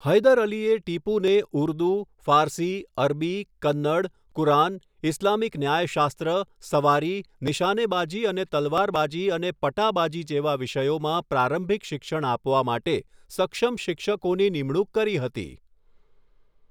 હૈદર અલીએ ટીપુને ઉર્દૂ, ફારસી, અરબી, કન્નડ, કુરાન, ઇસ્લામિક ન્યાયશાસ્ત્ર, સવારી, નિશાનેબાજી અને તલવારબાજી અને પટાબાજી જેવા વિષયોમાં પ્રારંભિક શિક્ષણ આપવા માટે સક્ષમ શિક્ષકોની નિમણૂક કરી હતી.